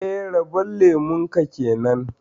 Eh, rabon lemun ka kenan